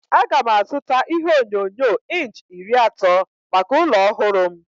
Aga m azụta ihe onyonyo inch iri atọ maka ụlọ ọhụrụ m.